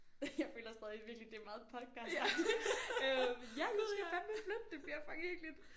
Jeg føler stadig virkelig det er meget podcastagtigt øh ja jeg skal fandeme flytte det bliver for hyggeligt